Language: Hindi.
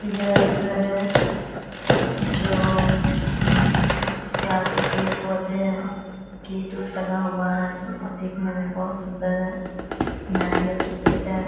यह एक घर है जो जिसके आगे पेड़ पौधे हैं गेट उट लगा हुआ है जो दिखने में सूंदर है नारियाल के पेड़ हैं ।